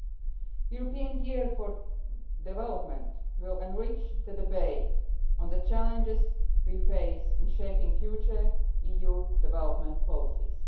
The European Year for Development will enrich the debate on the challenges we face in shaping future EU development policies.